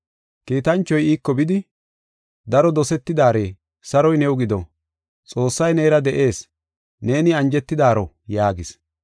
Kiitanchoy iiko bidi, “Daro dosetidaare, saroy new gido, Xoossay neera de7ees; neeni anjetidaaro” yaagis.